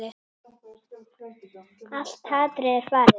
Allt hatrið er farið?